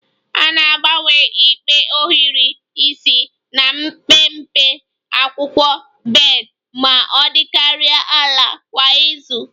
A na-agbanwe ikpe ohiri isi na mpempe akwụkwọ bed ma ọ dịkarịa ala kwa izu